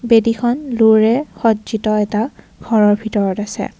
বেদীখন লোৰে সজ্জিত এটা ঘৰৰ ভিতৰত আছে।